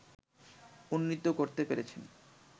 উন্নীত করতে পেরেছেন